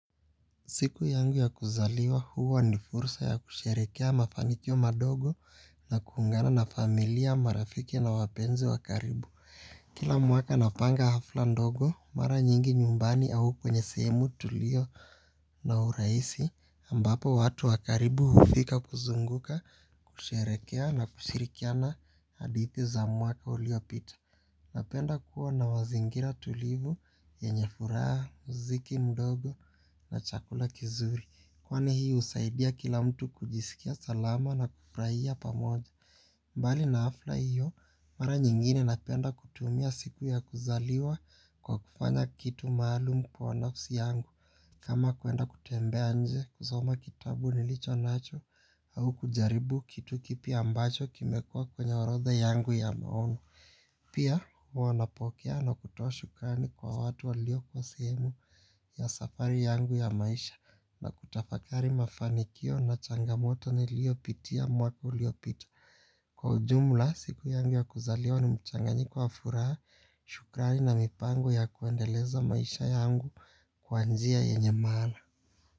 Siku yangu ya kuzaliwa huwa ni fursa ya kusherekea mafanikio madogo na kuungana na familia marafiki na wapenzi wa karibu. Kila mwaka napanga hafla ndogo mara nyingi nyumbani au kwenye sehemu tulio na uraisi ambapo watu wa karibu hufika kuzunguka kusherekea na kushirikiana hadithi za mwaka uliopita. Napenda kuwa na wazingira tulivu yenye furaha, mziki mdogo na chakula kizuri. Kwani hii usaidia kila mtu kujisikia salama na kupraia pamoja. Mbali na afla hiyo, mara nyingine napenda kutumia siku ya kuzaliwa kwa kufanya kitu maalum kwa nafsi yangu kama kwenda kutembea nje kusoma kitabu nilicho nacho au kujaribu kitu kipya ambacho kimekua kwenye orodha yangu ya maono. Pia hua napokea na kutoa shukrani kwa watu walio kwa sehemu ya safari yangu ya maisha na kutafakari mafanikio na changamoto niliopitia mwaka uliopitia. Kwa ujumla siku yangu ya kuzaliwa ni mchanganyiko wa furaha shukrani na mipango ya kuendeleza maisha yangu kwa njia yenye maana.